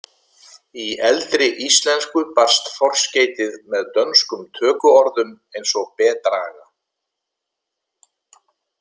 Í eldri íslensku barst forskeytið með dönskum tökuorðum eins og bedraga.